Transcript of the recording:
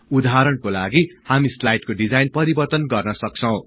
उदहारणको लागि हामी स्लाईडको डिजाइन परिवर्तन गर्न सक्छौं